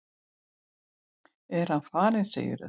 Er hann farinn, segirðu?